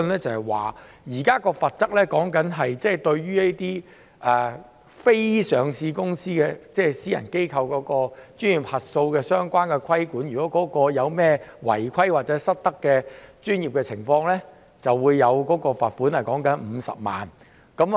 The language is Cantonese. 就現在說的罰則，或對於這些非上市公司，即私人機構的專業核數的相關規管而言，如果有任何違規或專業失德的情況，便會罰款50萬元。